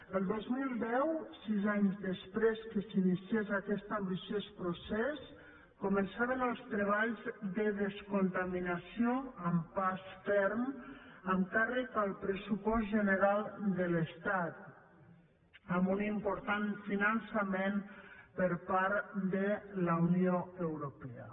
el dos mil deu sis anys després que s’iniciés aquest ambiciós procés començaven els treballs de descontaminació amb pas ferm amb càrrec al pressupost general de l’estat amb un important finançament per part de la unió europea